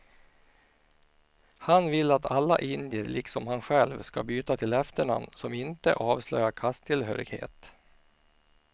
Han vill att alla indier liksom han själv ska byta till efternamn som inte avslöjar kasttillhörighet.